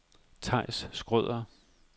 Theis Schrøder